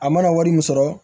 A mana wari min sɔrɔ